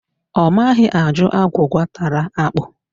Ọ maghị ajụ agwụgwa tara ákpụ̀